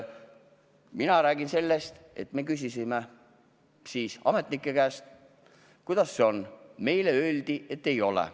Mina räägin sellest, et me küsisime ametnike käest, kuidas sellega on, ja meile öeldi, et nii ei ole.